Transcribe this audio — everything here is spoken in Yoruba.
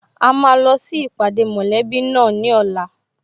A máa lọ sí ìpàdé mọ̀lẹ́bí náà ní ọ̀la